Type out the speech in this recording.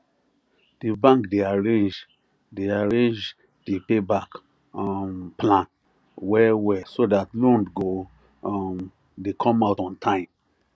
d bank de arrange de arrange the payback um plan well well so that loan go um dey come out on time